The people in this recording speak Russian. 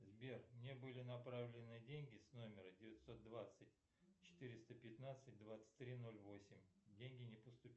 сбер мне были направлены деньги с номера девятьсот двадцать четыреста пятнадцать двадцать три ноль восемь деньги не поступили